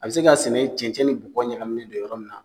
A be se ka sɛnɛ cɛncɛn ni bɔgɔ ɲagminnen don yɔrɔ min na